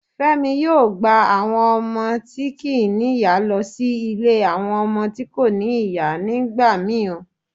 Femi yoo gba awon omo ti kii ní iya lọ sí ile awọn ọmọ to ko ni iya nigbamii o.